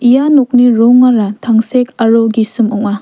ia nokni rongara tangsek aro gisim ong·a.